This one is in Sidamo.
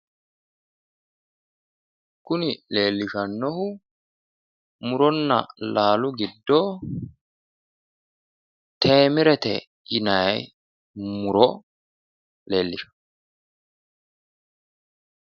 Kuni leellishshannohu muronna laalu giddo teemerete yinanni muro leellishanno.